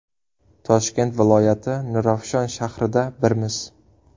Toshkent viloyati, Nurafshon shahrida Birmiz!